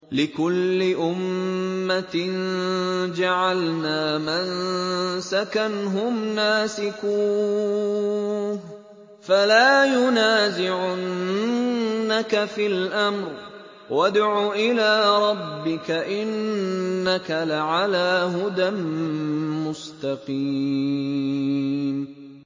لِّكُلِّ أُمَّةٍ جَعَلْنَا مَنسَكًا هُمْ نَاسِكُوهُ ۖ فَلَا يُنَازِعُنَّكَ فِي الْأَمْرِ ۚ وَادْعُ إِلَىٰ رَبِّكَ ۖ إِنَّكَ لَعَلَىٰ هُدًى مُّسْتَقِيمٍ